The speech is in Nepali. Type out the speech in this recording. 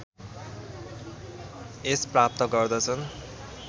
यश प्राप्त गर्दछन्